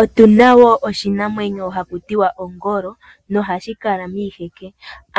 Otu na wo oshinamwenyo ha ku tiwa ongolo, nohashi kala miiheke,